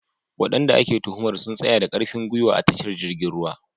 Wadanda ake tuhumar sun tsaya da karfin gwiwa a tashar jirgin ruwa.